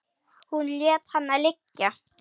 Hún lét hana liggja.